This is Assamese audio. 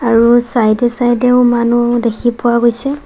আৰু চাইডে চাইডেও মানুহ দেখি পোৱা গৈছে।